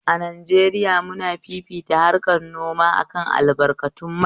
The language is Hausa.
A Najeriya muna fifita harkan noma akan albarkatun mai